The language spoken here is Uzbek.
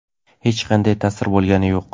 Hech qanday ta’sir bo‘lgani yo‘q.